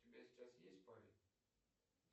у тебя сейчас есть парень